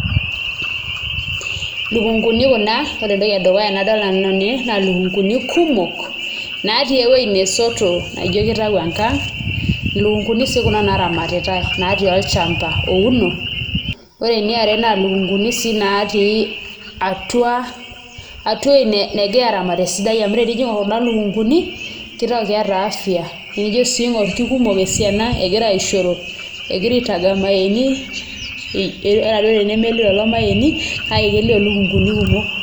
Ilukunguni kuna ore nanu entoki nadolta edukuya naa ilukunguni kumok naatii ewueji nasoto naijio kitau enkang', ilukunguni sii kuna naaramatitai naatii olchamba ouno. Ore eniare naa ilukunguni sii naatii atua atua ewueji negirai aaramat esidai amu tenijo aing'orr kuna lukunguni kitau keeta afya nijio sii aing'orr kekumok esiana egira aaishoro, egira aitaga irmayaini ata duo tenemelio lelo mayaini kelio ilukunguni kumok.